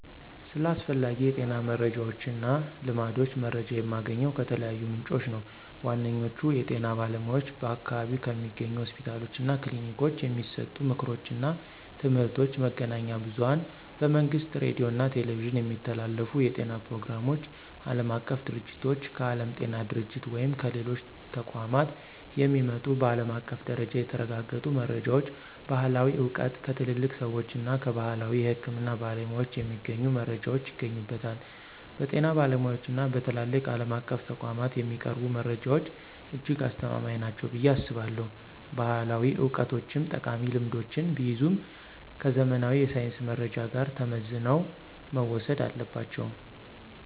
ስለ አስፈላጊ የጤና መረጃዎችና ልማዶች መረጃ የማገኘው ከተለያዩ ምንጮች ነው። ዋነኛዎቹ፦ የጤና ባለሙያዎች በአካባቢው ከሚገኙ ሆስፒታሎችና ክሊኒኮች የሚሰጡ ምክሮችና ትምህርቶች፣ መገናኛ ብዙኃን በመንግሥት ሬዲዮና ቴሌቪዥን የሚተላለፉ የጤና ፕሮግራሞች፣ ዓለም አቀፍ ድርጅቶች: ከዓለም ጤና ድርጅት ወይም ከሌሎች ተቋማት የሚመጡ በዓለም አቀፍ ደረጃ የተረጋገጡ መረጃዎች፣ ባሕላዊ ዕውቀት: ከትልልቅ ሰዎችና ከባሕላዊ የሕክምና ባለሙያዎች የሚገኙ መረጃዎች ይገኙበታል። በጤና ባለሙያዎችና በትላልቅ ዓለም አቀፍ ተቋማት የሚቀርቡ መረጃዎች እጅግ አስተማማኝ ናቸው ብዬ አስባለሁ። ባሕላዊ ዕውቀቶችም ጠቃሚ ልምዶችን ቢይዙም፣ ከዘመናዊ የሳይንስ መረጃ ጋር ተመዝነው መወሰድ አለባቸው።